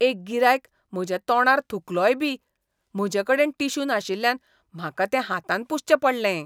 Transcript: एक गिरायक म्हज्या तोंडार थुकलोय बी. म्हजेकडेन टिश्यू नाशिल्ल्यान म्हाका तें हातान पुसचें पडलें.